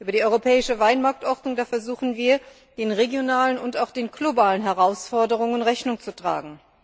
Über die europäische Weinmarktordnung versuchen wir, den regionalen und auch den globalen Herausforderungen Rechnung zu tragen.